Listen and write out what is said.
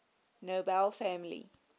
nobel family